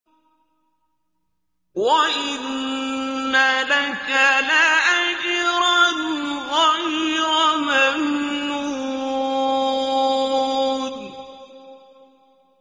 وَإِنَّ لَكَ لَأَجْرًا غَيْرَ مَمْنُونٍ